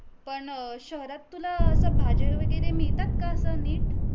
पण अ शहरात तुला अस भाज्या वैगरे मिळतात का अस निट